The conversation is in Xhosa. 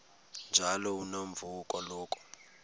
njalo unomvume kuloko